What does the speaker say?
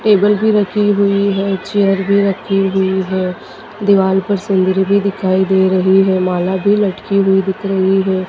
Table भी रखी हुई है चेयर भी रखी हुई है दीवाल पर सीनरी भी दिखाई दे रही है माला भी लटकी हुई दिख रही है।